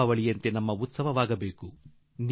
ದೀಪಾವಳಿಯಂತೆ ನಮ್ಮೆಲ್ಲರ ಉತ್ಸವ ಆಗಬೇಕು